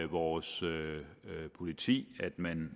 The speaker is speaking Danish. vores politi at man